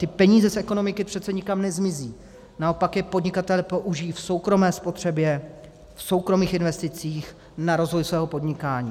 Ty peníze z ekonomiky přece nikam nezmizí, naopak je podnikatelé použijí v soukromé spotřebě, v soukromých investicích na rozvoj svého podnikání.